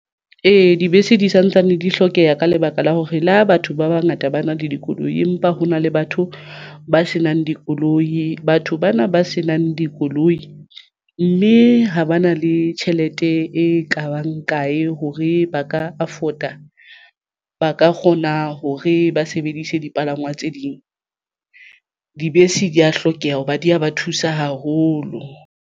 Ee, dibese di santsane di hlokeha ka lebaka la hore le ha batho ba bangata ba na le dikoloi empa hona le batho ba senang dikoloi batho bana ba senang dikoloi mme ha ba na le tjhelete e kabang kae hore ba ka afford a ba ka kgona hore ba sebedise dipalangwang tse ding. Dibese di ya hlokeha hoba di ya ba thusa haholo.